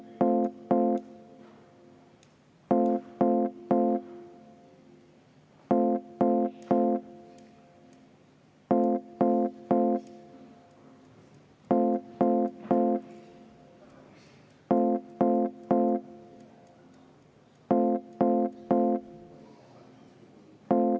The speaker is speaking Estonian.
V a h e a e g